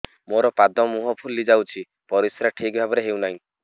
ମୋର ପାଦ ମୁହଁ ଫୁଲି ଯାଉଛି ପରିସ୍ରା ଠିକ୍ ଭାବରେ ହେଉନାହିଁ